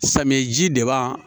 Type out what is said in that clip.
Samiyɛji deba